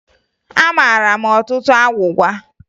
Amara m ọtụtụ agwụgwa